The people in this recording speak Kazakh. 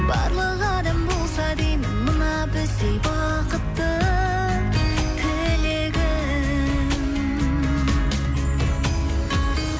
барлық адам болса деймін мына біздей бақытты тілегім